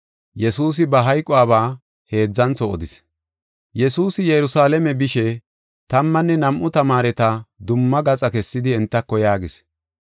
Yesuusi Yerusalaame bishe, tammanne nam7u tamaareta dumma gaxa kessidi entako yaagis: